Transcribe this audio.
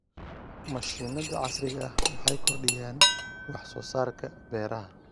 Mashiinnada casriga ah waxay kordhiyaan wax soo saarka beeraha.